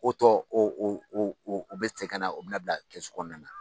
O tɔ o o o bɛ cɛ kana o bɛna bila kɛsu kɔnɔna na.